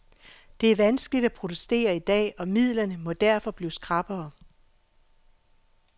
Det er vanskeligt at protestere i dag, og midlerne må derfor blive skrappere.